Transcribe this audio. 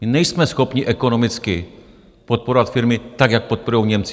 My nejsme schopni ekonomicky podporovat firmy, tak jak podporují Němci.